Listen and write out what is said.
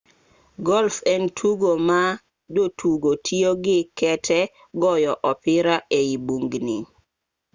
golf en tugo ma jotugo tiyo gi kete goyo opira e i bugni